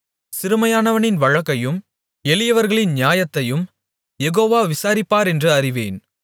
சிறுமையானவனின் வழக்கையும் எளியவர்களின் நியாயத்தையும் யெகோவா விசாரிப்பாரென்று அறிவேன்